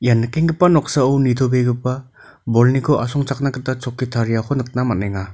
ia nikenggipa noksao nitobegipa bolniko asongchakna gita chokki tariako nikna man·enga.